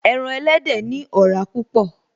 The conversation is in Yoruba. Ẹran elédè ní ọ̀rá púpọ̀